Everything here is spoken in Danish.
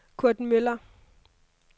Kurt Müller